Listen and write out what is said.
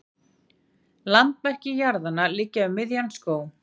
Landamerki jarðanna liggja um miðjan skóg.